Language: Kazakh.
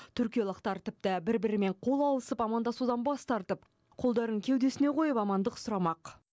түркиялықтар тіпті бір бірімен қол алысып амандасудан бас тартып қолдарын кеудесіне қойып амандық сұрамақ